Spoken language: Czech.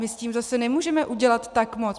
My s tím zase nemůžeme udělat tak moc.